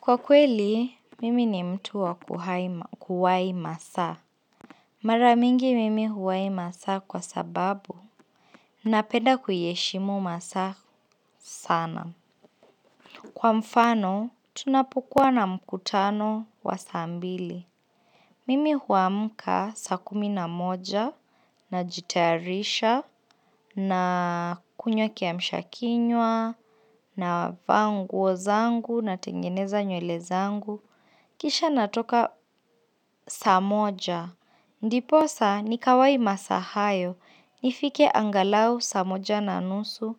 Kwa kweli, mimi ni mtu wa kuwai masaa. Maramingi mimi huwai masaa kwa sababu. Napenda kuyeshimo masaa sana. Kwa mfano, tunapukua na mkutano wa sa mbili. Mimi huamka sa kumi na moja, na jitayarisha, na kunywa kiamsha kinwa, navaa nguo zangu, na tengeneza nyule zangu. Kisha natoka sa moja. Ndiposa ni kawai masaa hayo. Nifike angalau sa moja na nusu.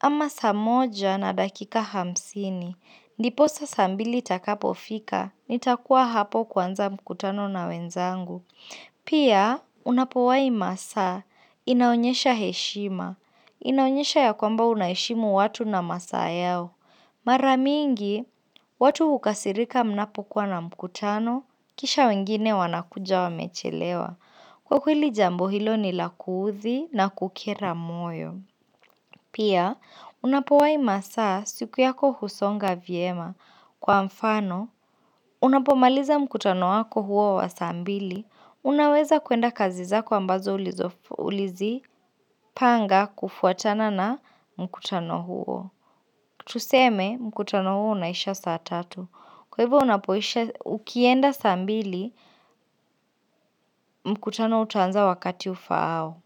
Ama sa moja na dakika hamsini. Ndiposa sa mbili takapofika. Nitakuwa hapo kwanza mkutano na wenzangu. Pia, unapowai masaa, inaonyesha heshima, inaonyesha ya kwamba unaeshimu watu na masaa yao. Mara mingi, watu hukasirika mnapo kuwa na mkutano, kisha wengine wanakuja wamechelewa. Kwa kwili jambo hilo ni lakuthi na kukera moyo. Pia, unapowai masaa siku yako husonga vyema. Kwa mfano, unapomaliza mkutano wako huo wa sa mbili, unaweza kuenda kazi zako ambazo ulizi panga kufuatana na mkutano huo. Tuseme, mkutano huo unaisha saa tatu. Kwa hivyo unapoisha ukienda sa mbili, mkutano utanza wakati ufaao.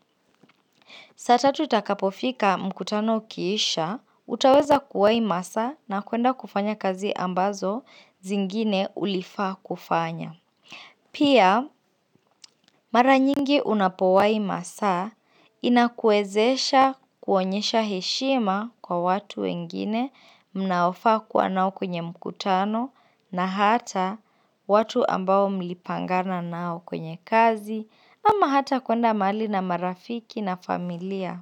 Sata tutakapofika mkutano ukiisha, utaweza kuwai masa na kuenda kufanya kazi ambazo zingine ulifaa kufanya. Pia mara nyingi unapowai masaa inakuezesha kuonyesha heshima kwa watu wengine mnaofa kuwa nao kwenye mkutano na hata watu ambao mlipangana nao kwenye kazi ama hata kuenda mali na marafiki na familia.